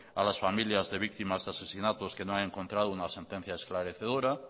a las familias de víctimas de asesinatos que no han encontrado una sentencia esclarecedora